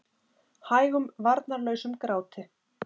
Hægum varnarlausum gráti.